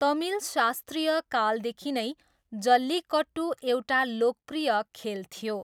तमिल शास्त्रीय कालदेखि नै जल्लीकट्टु एउटा लोकप्रिय खेल थियो।